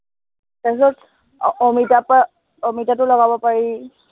তাৰপিছত আহ অমিতাৰ পৰা অমিতাটো লগাব পাৰি।